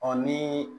ni